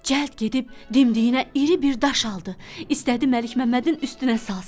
Cəld gedib dimdiyinə iri bir daş aldı, istədi Məlik Məmmədin üstünə salsın.